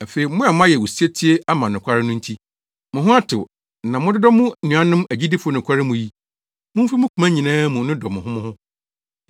Afei a moayɛ osetie ama nokware no nti, mo ho atew na mododɔ mo nuanom agyidifo nokware mu yi, mumfi mo koma nyinaa mu nnodɔ mo ho mo ho.